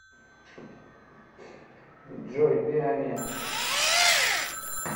джой пиа миа